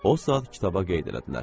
O saat kitaba qeyd elədilər.